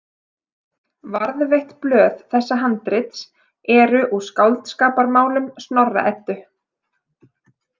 Varðveitt blöð þessa handrits eru úr Skáldskaparmálum Snorra- Eddu.